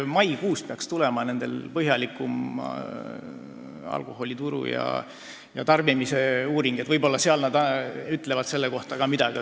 Maikuus peaks tulema põhjalikuma alkoholituru ja alkoholi tarbimise uuringu andmed, võib-olla need ütlevad selle kohta ka midagi.